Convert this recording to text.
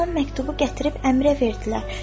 Hamı məktubu gətirib əmirə verdilər.